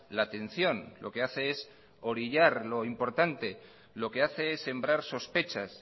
la atención lo que hace es orillar lo importante lo que hace es sembrar sospechas